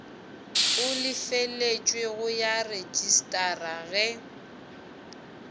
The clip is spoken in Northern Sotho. e lefeletšwego ya rejistara ge